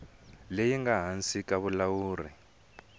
leyi nga ehansi ka vulawuri